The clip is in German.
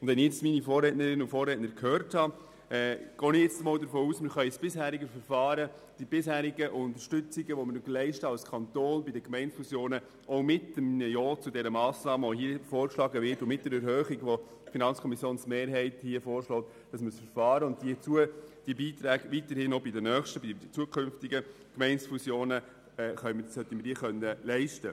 Nachdem ich meine Vorrednerin und meinen Vorredner gehört habe, gehe ich davon aus, dass wir das bisherige Verfahren und die bisherigen Leistungen und Unterstützungen, die wir als Kanton bei Gemeindefusionen geleistet haben, weiterhin bei künftigen Gemeindefusionen leisten, auch mit einem Ja zur vorgeschlagenen Massnahme der FiKo auf Erhöhung der Kürzung.